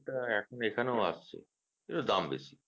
হ্যাঁ তা এখনেও আসছে কিন্তু দাম বেশি